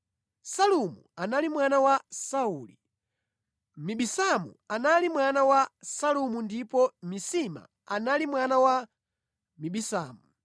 Salumu anali mwana wa Sauli, Mibisamu anali mwana wa Salumu ndipo Misima anali mwana wa Mibisamu.